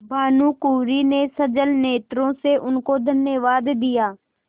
भानुकुँवरि ने सजल नेत्रों से उनको धन्यवाद दिया